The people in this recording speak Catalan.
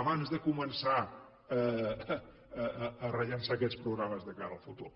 abans de començar a rellançar aquests programes de cara al futur